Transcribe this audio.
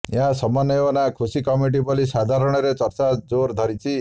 ଏହା ସମନ୍ୱୟ ନା ଖୁସି କମିଟି ବୋଲି ସାଧାରଣରେ ଚର୍ଚ୍ଚା ଜୋର ଧରିଛି